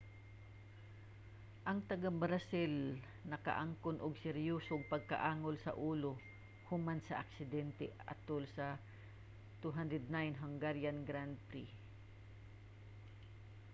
ang taga-brazil nakaangkon og seryosong pagkaangol sa ulo human sa aksidente atol sa 2009 hungarian grand prix